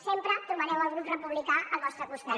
sempre trobareu el grup republicà al vostre costat